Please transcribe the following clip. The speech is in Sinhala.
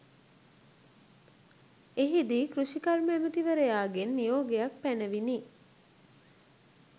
එහිදී කෘෂිකර්ම ඇමතිවරයාගෙන් නියෝගයක් පැනවිණ